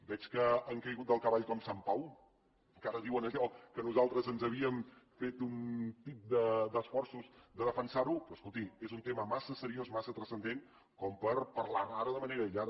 veig que han caigut del cavall com sant pau que ara diuen allò que nosaltres ens havíem fet un tip d’esforços de defensar ho però escolti és un tema massa seriós massa transcendent per parlar ne ara de manera aïllada